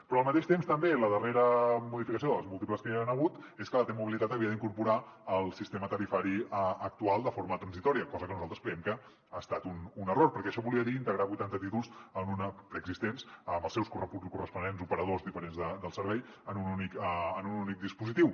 però al mateix temps també la darrera modificació de les múltiples que hi han hagut és que la t mobilitat havia d’incorporar el sistema tarifari actual de forma transitòria cosa que nosaltres creiem que ha estat un error perquè això volia dir integrar vuitanta títols preexistents amb els seus corresponents operadors diferents del servei en un únic dispositiu